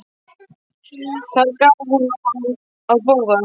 Þar gaf hún honum að borða.